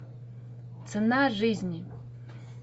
цена жизни